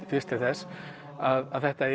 fyrst til þess að þetta